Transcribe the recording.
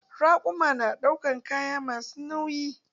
Raƙuma na ɗaukan kaya masu nauyi.